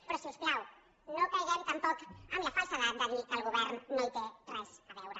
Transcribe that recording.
però si us plau no caiguem tampoc en la falsedat de dir que el govern no hi té res a veure